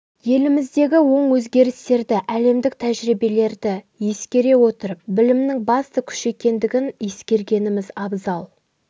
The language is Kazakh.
еліміздегі оң өзгерістерді әлемдік тәжірибелерді ескере отырып білімнің басты күш екендігін ескергеніміз абзал